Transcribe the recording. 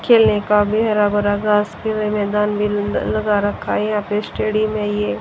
खेलने का भी हरा भरा घास के मैदान लगा रखा है यहां पे स्टेडियम है ये।